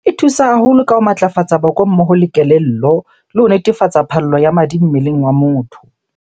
E thusa haholo ka ho matlafatsa boko mmoho le kelello. Le ho netefatsa phallo ya madi mmeleng wa motho.